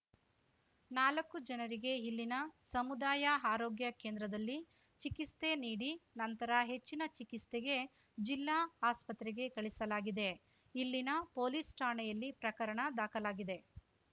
ನಾಲಕ್ಕು ಜನರಿಗೆ ಇಲ್ಲಿನ ಸಮುದಾಯ ಆರೋಗ್ಯ ಕೇಂದ್ರದಲ್ಲಿ ಚಿಕಿಸ್ತೆ ನೀಡಿ ನಂತರ ಹೆಚ್ಚಿನ ಚಿಕಿಸ್ತೆಗೆ ಜಿಲ್ಲಾ ಆಸ್ಪತ್ರೆಗೆ ಕಳಿಸಲಾಗಿದೆ ಇಲ್ಲಿನ ಪೊಲೀಸ್‌ ಠಾಣೆಯಲ್ಲಿ ಪ್ರಕರಣ ದಾಖಲಾಗಿದೆ